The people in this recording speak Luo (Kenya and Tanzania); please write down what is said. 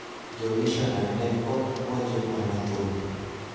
Jomisioner ne ok puonjo mana thum